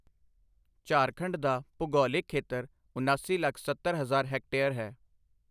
ਝਾਰਖੰਡ ਦਾ ਭੂਗੋਲਿਕ ਖੇਤਰ ਉਨਾਸੀ ਲੱਖ ਸੱਤਰ ਹਜਾਰ ਹੈਕਟੇਅਰ ਹੈ।